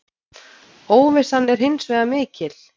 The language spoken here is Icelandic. Óvissan er hins vegar mikil.